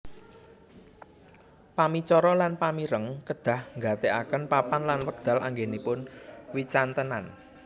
Pamicara lan pamireng kedah nggatèkaken papan lan wekdal anggenipun wicantenan